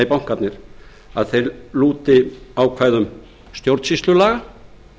bankarnir að þeir lúti ákvæðum stjórnsýslulaga